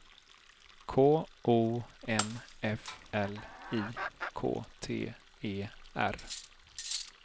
K O N F L I K T E R